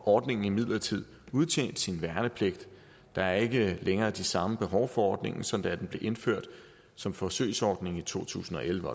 ordningen imidlertid udtjent sin værnepligt der er ikke længere det samme behov for ordningen som da den blev indført som forsøgsordning i to tusind og elleve